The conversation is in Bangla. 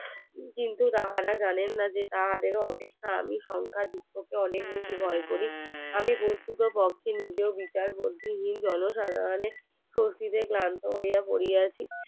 কিন্তু তাহারা জানেন না যে তাহাদের ও অপেক্ষা আমি জংখাযুক্ত কে অনেক বেশি ভয় করি আমি প্রকৃতপক্ষে নিজের বিকাশ জন সাধারণের চৌচির গ্রন্থ হইয়া পড়িয়াছি